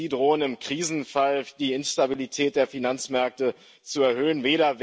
Auch sie drohen, im Krisenfall die Instabilität der Finanzmärkte zu erhöhen.